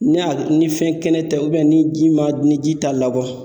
Ni y'a ni fɛn kɛnɛ tɛ ni ji ma ni ji ta labɔ.